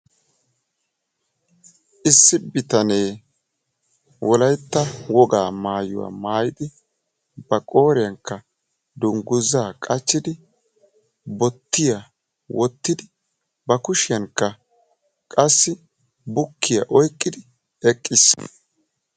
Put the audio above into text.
Issi bitanee wolaytta wogaa maayuwaa maayidi ba qooriyaankka dunguzzaa qachchidi bottiyaa wottidi ba kushiyaanikka qassi bukkiyaa oyqqidi eqqiis.